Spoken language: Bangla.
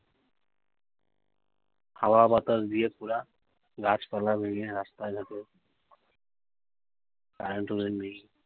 হাওয়া বাতাস দিয়ে পুরা গাছপালা ভেঙে রাস্তায় ঘাটে কারেন্টও নেই।